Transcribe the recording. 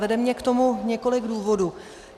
Vede mě k tomu několik důvodů.